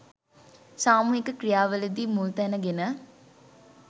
සාමුහික ක්‍රියා වලදී මුල් තැන ගෙන